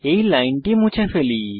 এই লাইনটি মুছে ফেলি